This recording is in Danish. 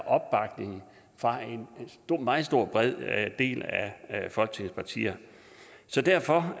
opbakning fra en meget stor del af af folketingets partier så derfor